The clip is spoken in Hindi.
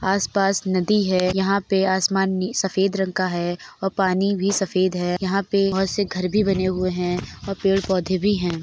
आसपास नदी है। यहां पे आसमान नी सफेद रंग का है और पानी भी सफेद है। यहां पर बोहोत से घर भी बने हुए हैं और पेड़ पौधे भी हैं।